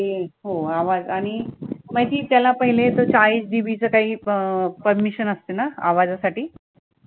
हो आवाज आणि माहितीये त्याला पहीले चाळीस DB ची काही अं permission असते ना आवाजासाठी